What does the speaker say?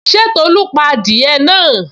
Ṣé Tolu pa adìẹ náà?